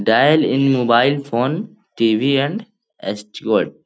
Dial in mobile phone TV. And --